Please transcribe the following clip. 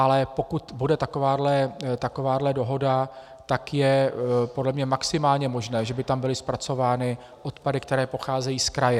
Ale pokud bude takováhle dohoda, tak je podle mě maximálně možné, že by tam byly zpracovány odpady, které pocházejí z kraje.